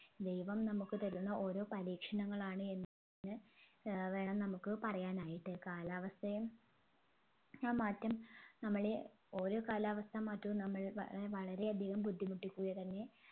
ദൈവം നമ്മുക്ക് തരുന്ന ഓരോ പരീക്ഷണങ്ങളാണ് എന്ന് ഏർ വേണം നമ്മുക്ക് പറയാനായിട്ട് കാലാവസ്ഥയും യ മാറ്റം നമ്മളെ ഓരോ കാലാവസ്ഥ മാറ്റവും നമ്മൾ വളരെ വളരെ അധികം ബുദ്ധിമുട്ടിക്കുക തന്നെ